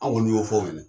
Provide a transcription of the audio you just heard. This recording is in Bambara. An kɔni y'o fɔ aw ɲɛna